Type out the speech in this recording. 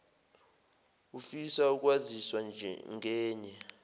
ufisa ukwaziswa ngenye